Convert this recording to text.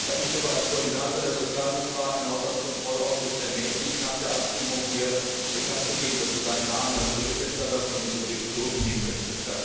Er hat mich aber als Koordinator der Sozialdemokraten im Haushaltskontrollausschuss ermächtigt, nach der Abstimmung hier bekanntzugeben, dass er seinen Namen als Berichterstatter von diesem Bericht zurückziehen möchte.